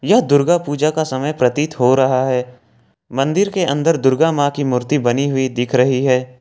यह दुर्गा पूजा का समय प्रतीत हो रहा है मंदिर के अंदर दुर्गा मां की मूर्ति बनी हुई दिख रही है।